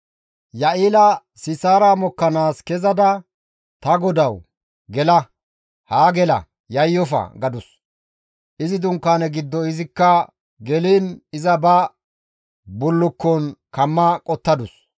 Ya7eela Sisaara mokkanaas kezada, «Ta godawu, gela; haa gela; yayyofa» gadus; izi dunkaane giddo izikko geliin iza ba bullukkon kamma qottadus.